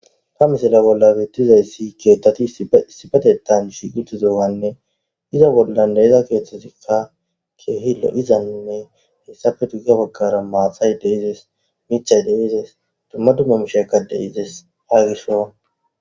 ta misala bolla beettizayssi keethtati sibetetan shiguti zowanne iza bollan deeza keeththesikka keehilo izanne hessafe tuggiya baggara maathay deezes michay deezes dumma dumma mishekkade izes aagiso